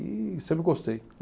E sempre gostei.